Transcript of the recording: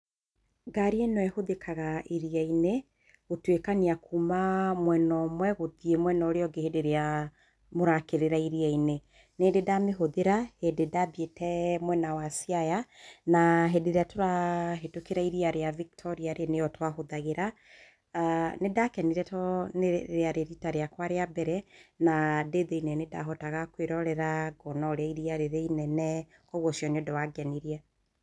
Ngarĩ ĩno ĩhũthikaga iria-inĩ, gũtũikania kuuma mwena ũmwe gũthiĩ mwena ũrĩa ũngĩ hĩndĩ ĩrĩa mũrakĩrĩra iria-inĩ. Nĩndĩ ndamĩhũthĩra hĩndĩ ĩrĩa ndathiĩte mwena wa Siaya, na hĩndĩ ĩrĩa tũrahetũkĩra iria rĩa Victoria nĩyo twahũthagĩra. Nĩ ndakenire tondũ rĩarĩ rita rĩakwa rĩa mbere, na ndĩthĩini nĩ ndahotaga kũĩrorera kuona ũrĩa iria rĩrĩinene. Koguo ũcio nĩ ũndũ wangenirie.